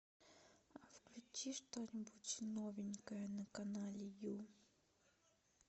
включи что нибудь новенькое на канале ю